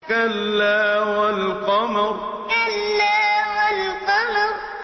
كَلَّا وَالْقَمَرِ كَلَّا وَالْقَمَرِ